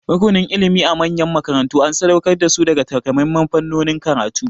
Rukunin ilimi a manyan makarantu an sadauƙar da su ga takamaiman fannonin karatu.